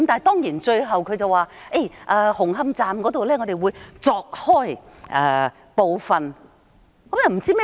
當然，他最後說會在紅磡站鑿開部分看看。